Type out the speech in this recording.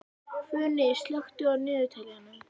Funi, slökktu á niðurteljaranum.